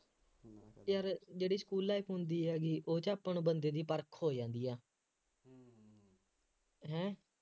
ਯਾਰ ਜਿਹੜੀ school life ਹੁੰਦੀ ਹੈ ਬਈ ਉਹ ਚ ਆਪਾਂ ਨੂੰ ਬੰਦੇ ਦੀ ਪਰਖ ਹੋ ਜਾਂਦੀ ਹੈ ਹੈਂ